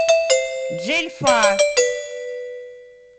джельфа